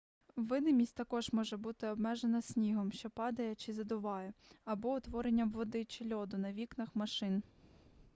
видимість також може бути обмежена снігом що падає чи задуває або утворенням води чи льоду на вікнах машин